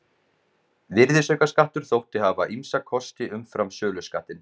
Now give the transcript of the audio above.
Virðisaukaskattur þótti hafa ýmsa kosti umfram söluskattinn.